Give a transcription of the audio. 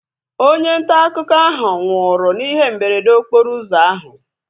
Onye ntaakụkọ ahu nwụrụ n'ihe mberede okporo ụzọ ahu